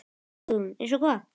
Hugrún: Eins og hvað?